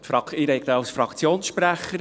Ich spreche als Fraktionssprecher.